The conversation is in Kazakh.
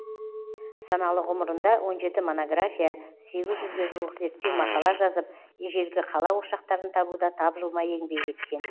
саналы ғұмырында он жеті монография сегіз жүзге жуық зерттеу мақала жазып ежелгі қала ошақтарын табуда тапжылмай еңбек еткен